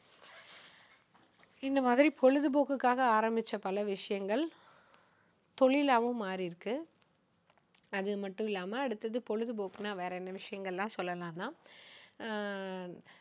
இந்த மாதிரி பொழுதுபோக்குக்காக ஆரம்பிச்ச பல விஷயங்கள் தொழிலாவும் மாறிருக்கு. அதுமட்டும் இல்லாம அடுத்தது பொழுதுபோக்குன்னா வேற என்ன விஷயங்கள் எல்லாம் சொல்லலான்னா அஹ்